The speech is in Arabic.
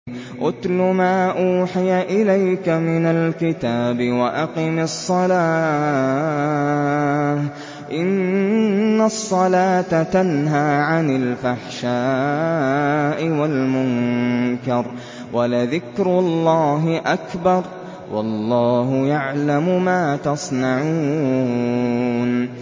اتْلُ مَا أُوحِيَ إِلَيْكَ مِنَ الْكِتَابِ وَأَقِمِ الصَّلَاةَ ۖ إِنَّ الصَّلَاةَ تَنْهَىٰ عَنِ الْفَحْشَاءِ وَالْمُنكَرِ ۗ وَلَذِكْرُ اللَّهِ أَكْبَرُ ۗ وَاللَّهُ يَعْلَمُ مَا تَصْنَعُونَ